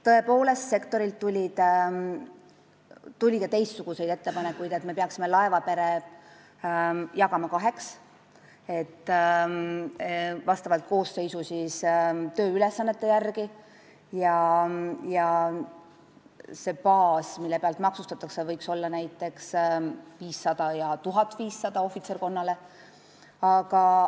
Tõepoolest, sektorilt tuli ka teistsuguseid ettepanekuid, et me peaksime laevapere koosseisu tööülesannete järgi kaheks jagama ja see baas, mida maksustatakse, võiks olla näiteks 500 eurot ja ohvitserkonnale 1500 eurot.